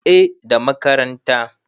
eh da makaranta